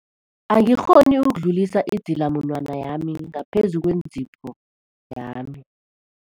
Angikghoni ukudlulisa idzilamunwana yami ngaphezu kwentipho yami.